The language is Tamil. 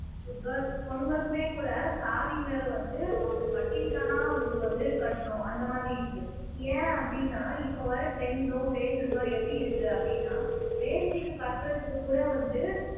girl பொண்ணுங்களுக்குமே கூட saree ன்றதை வந்து ஒருத்தர் கட்டிவிட்டாதான் அவங்களுக்கு வந்து கட்டணும் அந்த மாதிரி இருக்கு ஏன் அப்படின்னா இப்ப வர trends உம் fashions உம் எப்படி இருக்கு அப்படின்னா வேஷ்டிக்கு கட்டுறதுக்கு கூட வந்து